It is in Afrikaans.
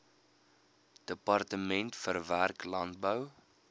departement verwerk landbou